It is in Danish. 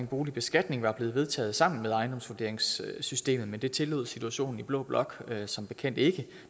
boligbeskatning var blevet vedtaget sammen med ejendomsvurderingssystemet men det tillod situationen i blå blok som bekendt ikke